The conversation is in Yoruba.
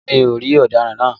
Rárá mi ò rí ọ̀daràn náà